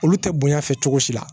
Olu tɛ bonya fɛ cogo si la